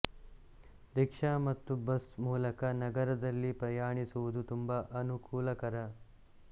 rickshaw ಮತ್ತು bus ಮೂಲಕ ನಗರದಲ್ಲಿ ಪ್ರಯಾಣಿಸುವುದು ತುಂಬಾ ಅನುಕೂಲಕರ